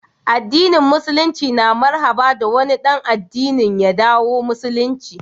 addinin musululinci na marhaba da wani dan addinin ya dawo musulunci